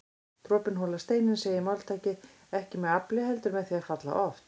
Dropinn holar steininn segir máltækið, ekki með afli heldur með því að falla oft